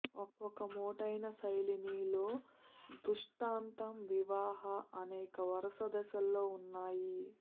ఒక మోటైన శైలిని లో దృష్టాంతం వివాహ అనేక వరుస దశల్లో ఉన్నాయి